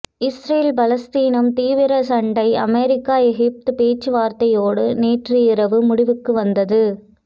Israel பாலஸ்தீனம் தீவிர சண்டை அமெரிக்க எகிப்து பேச்சு வார்த்தையோடு நேற்று இரவு முடிவுக்கு வந்தது